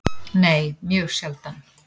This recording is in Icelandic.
Nei, mjög sjaldan.